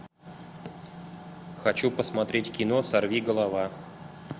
хочу посмотреть кино сорвиголова